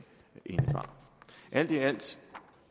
indebar alt i alt